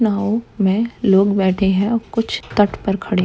नाव में लोग बैठे है कुछ तट पर खड़े--